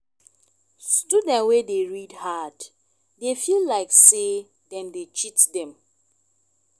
student wey dey read hard dey feel like sey dem dey cheat them